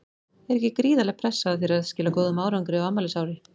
Er ekki gríðarleg pressa á þér að skila góðum árangri á afmælisári?